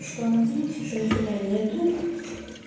что надеемся что нифига нету